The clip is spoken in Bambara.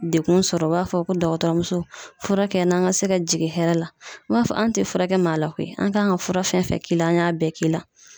Dekun sɔrɔ o b'a fɔ ko dɔgɔtɔrɔmuso furakɛ n na, n ka se ka jigin hɛrɛ la . N b'a fɔ anw te fura kɛ maa la koyi, an kan ka fura fɛn fɛn k'i la ,an y'a bɛɛ k'i la.